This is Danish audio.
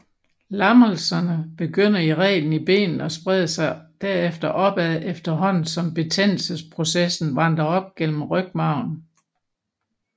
Lammelserne begynder i reglen i benene og spreder sig derefter opad efterhånden som betændelsesprocessen vandrer op gennem rygmarven